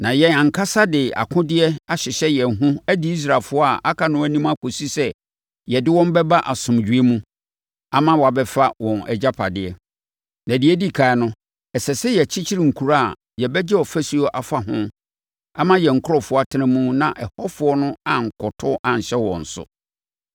na yɛn ankasa de akodeɛ bɛhyehyɛ yɛn ho adi Israelfoɔ a aka no anim kɔsi sɛ yɛde wɔn bɛba asomdwoeɛ mu ama wɔabɛfa wɔn agyapadeɛ. Na deɛ ɛdi ɛkan no, ɛsɛ sɛ yɛkyekyere nkuro a yɛbɛgye afasuo afa ho ama yɛn nkurɔfoɔ atena mu na ɛhɔfoɔ no ankɔto anhyɛ wɔn so.